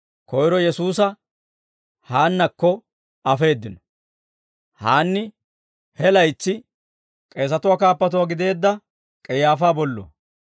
Koyro Yesuusa Haannakko afeeddino; Haanni he laytsi k'eesatuwaa kaappatuwaa gideedda K'ayaafaa bolluwaa.